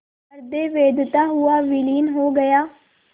हृदय वेधता हुआ विलीन हो गया